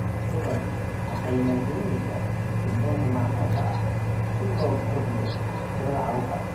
Jabaan waxay maalgelinaysaa sirdoonka macmalka ah si loo kordhiyo tirada carruurta.